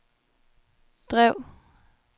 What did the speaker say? drev